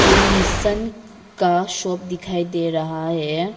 फिर निसान का शॉप दिखाई दे रहा है।